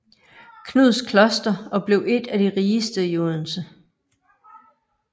Knuds Kloster og blev et af de rigeste i Odense